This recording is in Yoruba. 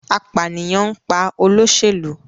Apaniyan n pa oloselu